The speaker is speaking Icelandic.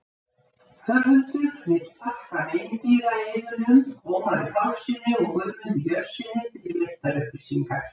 höfundur vill þakka meindýraeyðunum ómari pálssyni og guðmundi björnssyni fyrir veittar upplýsingar